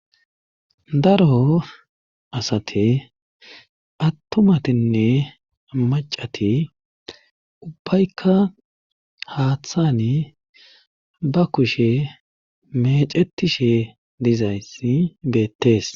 daro asate attumatinne macati ubbaykka haaththani ba kushe mecetishe dizayssi beettees